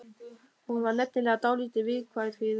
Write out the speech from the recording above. Hún var nefnilega dálítið viðkvæm fyrir þessu.